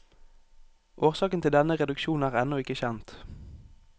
Årsaken til denne reduksjon er ennå ikke kjent.